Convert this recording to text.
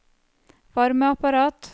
varmeapparat